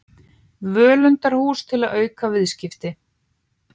Völundarhús til að auka viðskipti